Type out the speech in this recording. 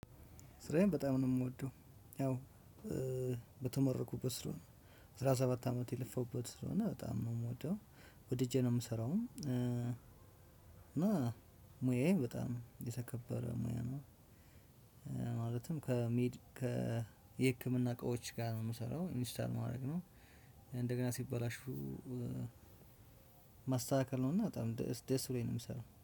ስራዬን በጣም ነው የምወደው። ያው በተመረኩበት ስለሆነ አስራ ሰባት አመት የለፋሁበት ስለሆነ በጣም ነው የምወደው። ወድጄ ነው የምሰራውም እና። ሙያዬ በጣም የተከበረ ሙያ ነው። ማለትም ከሚድ ከ የህክምና እቃዎች ጋር ነው የምሰራው ኢንስታል ማድረግ ነው። እንደገና ሲበላሹ ማስተካከል ነውና በጣም ደስ ብሎኝ ነው የምሰራው